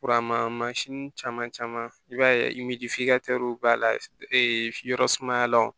caman caman i b'a ye b'a la e yɔrɔ sumaya la wo